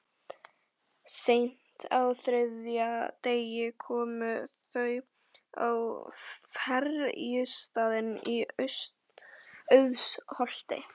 Seint á þriðja degi komu þau á ferjustaðinn í Auðsholti.